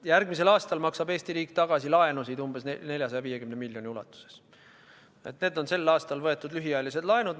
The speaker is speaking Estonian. Järgmisel aastal maksab Eesti riik laene tagasi umbes 450 miljoni euro ulatuses, need on sel aastal võetud lühiajalised laenud.